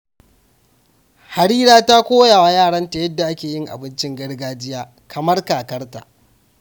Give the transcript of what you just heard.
Harira ta koya wa yaranta yadda ake yin abincin gargajiya kamar kakarta.